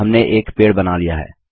हमने एक पेड़ बना लिया है